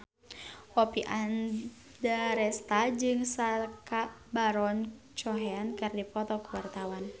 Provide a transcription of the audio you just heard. Oppie Andaresta jeung Sacha Baron Cohen keur dipoto ku wartawan